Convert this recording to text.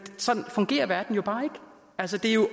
sådan fungerer verden bare ikke altså det er jo